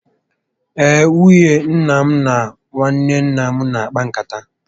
Ee, nwunye nna m na nwanne nna m na akpa nkata